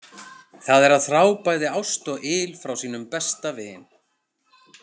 Það er að þrá bæði ást og yl frá sínum besta vin.